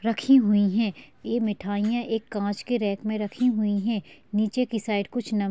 -- रखी हुई हैं ये मिठाइयां एक कांच के रैक में रखी हुई हैं नीचे की साइड कुछ नम--